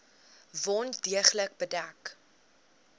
wond deeglik bedek